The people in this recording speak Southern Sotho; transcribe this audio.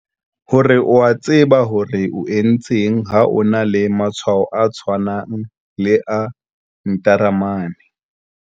Hore o a tseba hore o etseng ha o na le matshwao a tshwanang le a ntaramane.